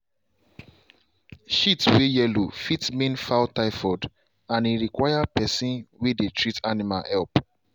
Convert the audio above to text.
shit way yellow fit mean fowl typhoid and e require person way dey treat animal help.